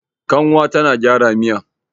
kanwar tana gyara Miya